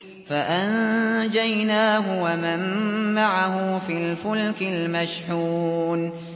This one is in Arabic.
فَأَنجَيْنَاهُ وَمَن مَّعَهُ فِي الْفُلْكِ الْمَشْحُونِ